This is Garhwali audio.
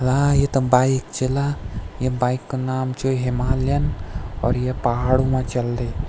ला ये त बाइक च ला ये बाइक कु नाम च हिमालयन और या पहाड़ू मा चलदी।